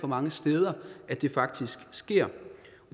mange steder at det faktisk sker